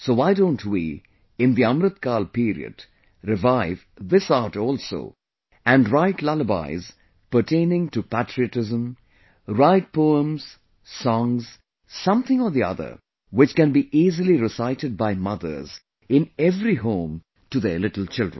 So why don't we, in the Amritkaal period, revive this art also and write lullabies pertaining to patriotism, write poems, songs, something or the other which can be easily recited by mothers in every home to their little children